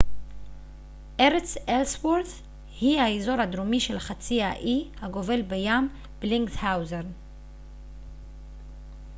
ארץ אלסוורת' היא האזור הדרומי של חצי האי הגובל בים בלינגהאוזן